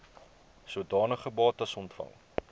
sodanige bates ontvang